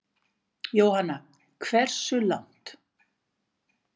Jóhanna: Hversu langt?